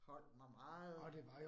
Holdt mig meget